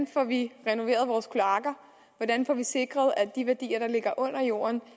får vi renoveret vores kloakker hvordan får vi sikret at de værdier der ligger under jorden